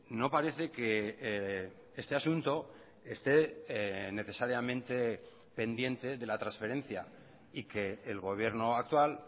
no parece que este asunto esté necesariamente pendiente de la transferencia y que el gobierno actual